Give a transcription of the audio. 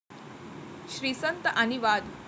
श्रीसंत आणि वाद!